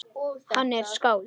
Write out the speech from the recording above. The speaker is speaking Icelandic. Hann er skáld